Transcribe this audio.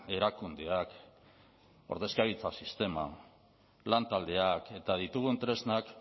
erakundeak ordezkaritza sistema lantaldeak eta ditugun tresnak